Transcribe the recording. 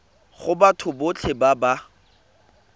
go batho botlhe ba ba